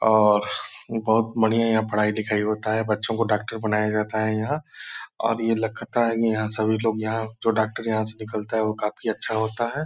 और बहुत बढ़िया यहाँ पढ़ाई लिखाई होता है बच्चों को डॉक्टर बनाया जाता है यहाँ और ये लगता है यहाँ सभी लोग यहाँ जो डॉक्टर यहाँ से निकलता है वो काफी अच्छा होता है।